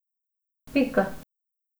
Pika.